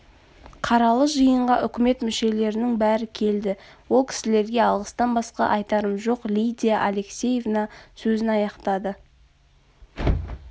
қаралы жиынға үкімет мүшелерінің бәрі келді ол кісілерге алғыстан басқа айтарым жоқ лидия алексеевна сөзін аяқтады